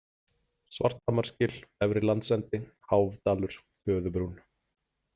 Svarthamarsgil, Efri-Landsendi, Háfdalur, Töðubrún